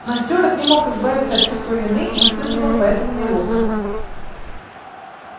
но стюарт не мог избавиться от чувства вины и испытывал поэтому неловкость